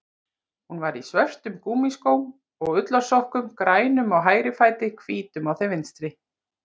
Hún var í svörtum gúmmískóm og ullarsokkum, grænum á hægri fæti, hvítum á þeim vinstri.